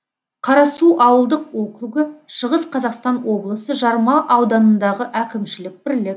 қарасу ауылдық округі шығыс қазақстан облысы жарма ауданындағы әкімшілік бірлік